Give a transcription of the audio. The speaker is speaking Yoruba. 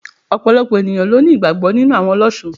Òpòlopò ènìyãn ló ní ìgbàgbó nínú àwon olósun